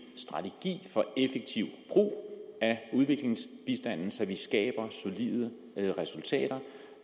strategi for en effektiv brug af udviklingsbistanden så vi skaber solide resultater